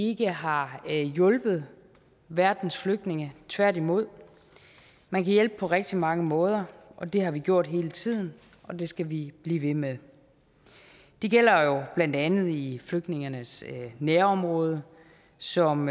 ikke har hjulpet verdens flygtninge tværtimod man kan hjælpe på rigtig mange måder og det har vi gjort hele tiden og det skal vi blive ved med det gælder blandt andet i flygtningenes nærområder som